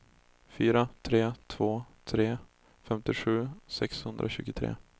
fyra tre två tre femtiosju sexhundratjugotre